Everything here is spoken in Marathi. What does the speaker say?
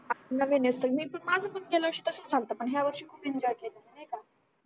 आपण नवीन असते मी तर माझ पण गेल्या वर्षी तसच झालत पण हया वर्षी खूप एंजॉय केला मी नाही का